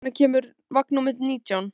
Sjana, hvenær kemur vagn númer nítján?